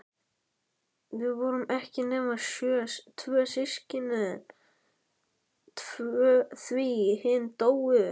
Við vorum ekki nema tvö systkinin, því hin dóu.